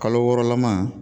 Kalo wɔɔrɔ lama